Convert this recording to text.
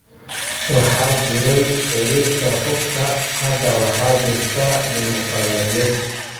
Waxaa jiray xeerkii hubka. Hadda waxaa jirta dimoqraadiyad.